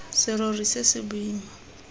serori se se boima se